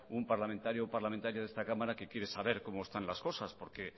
un parlamentario parlamentaria de esta cámara que quiere saber cómo están las cosas porque